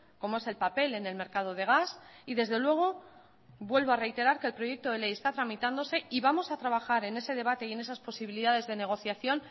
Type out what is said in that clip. como es el papel en el mercado de gas y desde luego vuelvo a retirar que el proyecto de ley está tramitándose y vamos a trabajar en ese debate y en esas posibilidades de negociación